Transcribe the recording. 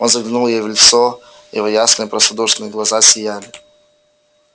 он заглянул ей в лицо его ясные простодушные глаза сияли